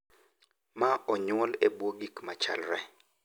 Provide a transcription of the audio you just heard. Ma onyuol e bwo gik ma chalre.